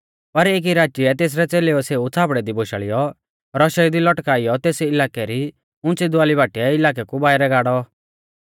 पर एकी राचीऐ तेसरै च़ेलेउऐ सेऊ छ़ाबड़ै दी बोशाल़ीऔ रौशेऊ दी लटकाइयौ तेस इलाकै री उंच़ी दवाली बाटीऐ इलाकै कु बाइरै गाड़ौ